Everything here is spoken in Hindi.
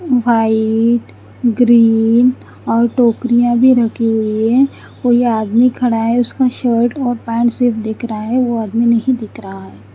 वाइट ग्रीन और टोकरिया भी रखी हुई है और ये आदमी खड़ा है उसका शर्ट और पेंट से दिख रहा है वो आदमी नही दिख रहा है।